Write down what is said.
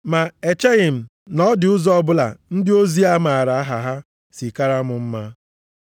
Ma echeghị m na ọ dị ụzọ ọbụla ndị ozi a maara aha ha si kara m mma.